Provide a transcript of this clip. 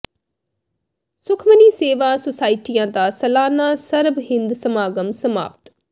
ਸੁਖਮਨੀ ਸੇਵਾ ਸੁਸਾਇਟੀਆਂ ਦਾ ਸਾਲਾਨਾ ਸਰਬ ਹਿੰਦ ਸਮਾਗਮ ਸਮਾਪਤ